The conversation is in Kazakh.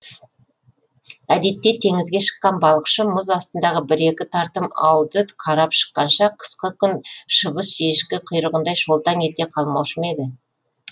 әдетте теңізге шыққан балықшы мұз астындағы бір екі тартым ауды қарап шыққанша қысқы күн шыбыш ешкі құйрығындай шолтаң ете қалмаушы ма еді